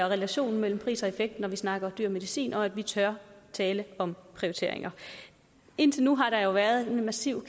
relationen mellem pris og effekt når vi snakker dyr medicin og at vi tør tale om prioriteringer og indtil nu har der jo været en massiv